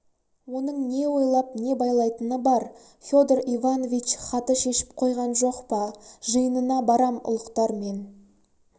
оның не ойлап не байлайтыны бар федор иванович хаты шешіп қойған жоқ па жиынына барам ұлықтармен